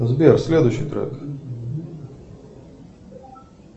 сбер следующий трек